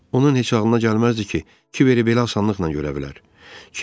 Onun heç ağlına gəlməzdi ki, Kiberi belə asanlıqla görə bilər.